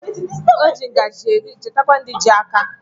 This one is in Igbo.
O ji ngajị eri chetakwa ndị ji áká.